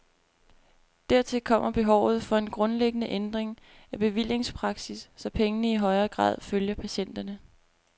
Dertil kommer behovet for en grundlæggende ændring af bevillingspraksis, så pengene i højere grad følger patienterne.